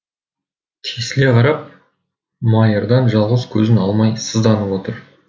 тесіле қарап майырдан жалғыз көзін алмай сызданып отыр